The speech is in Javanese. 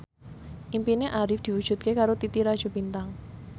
impine Arif diwujudke karo Titi Rajo Bintang